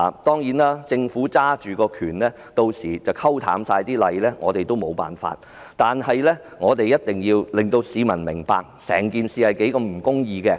當然，政府屆時會以權力來淡化法例，對此我們也許無計可施，但我們一定要令市民明白整件事是多麼的不公義。